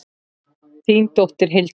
Þín dóttir, Hildur.